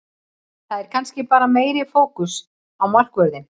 Það er kannski bara meiri fókus á markvörðinn.